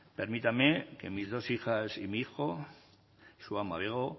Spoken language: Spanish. permítanme que mis dos hijas y mi hijo su ama bego